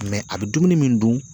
a bɛ dumuni min dun